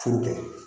Furu kɛ